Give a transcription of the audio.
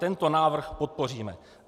Tento návrh podpoříme.